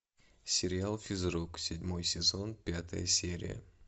сериал физрук седьмой сезон пятая серия